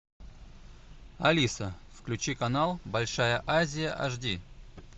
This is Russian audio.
алиса включи канал большая азия аш ди